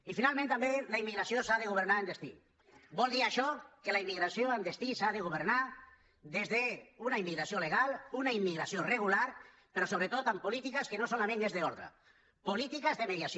i finalment també la immigra·ció s’ha de governar en destí vol dir això que la im·migració en destí s’ha de governar des d’una immigra·ció legal una immigració regular però sobretot amb polítiques que no solament són d’ordre polítiques de mediació